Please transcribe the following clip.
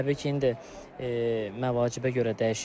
Təbii ki, indi məvacibə görə dəyişir.